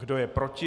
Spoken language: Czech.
Kdo je proti?